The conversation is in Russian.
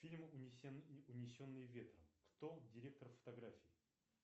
фильм унесенные ветром кто директор фотографии